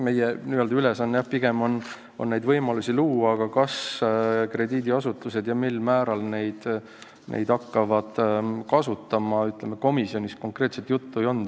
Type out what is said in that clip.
Meie ülesanne pigem ongi võimalusi luua, aga kas krediidiasutused neid hakkavad kasutama, sellest komisjonis konkreetselt juttu ei olnud.